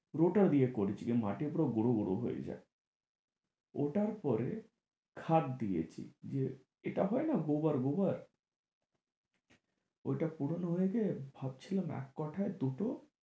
রোটার দিয়ে করেছি যে মাটি পুরো গুঁড়ো গুঁড়ো হয়ে যায় ওটার পরে খাত দিয়েছি যে এটা হয় না গোবর গোবর ওইটা পুরোনো হয়ে গিয়ে ভাবছিলাম এক কাঠায় দুটো